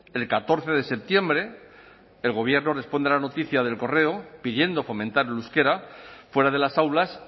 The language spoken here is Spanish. el catorce de septiembre el gobierno responde a la noticia de el correo pidiendo fomentar el euskera fuera de las aulas